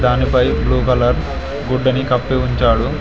దానిపై blue colour గుడ్డను కప్పి ఉంచాడు.